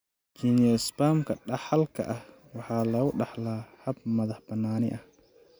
Geniospasm-ka dhaxalka ah waxaa lagu dhaxlaa hab madax-bannaani ah.